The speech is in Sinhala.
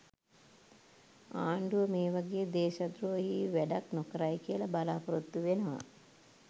ආණ්ඩුව මේවගේ දේශද්‍රෝහී වැඩක් නොකරයි කියල බලාපොරත්තු වෙනවා.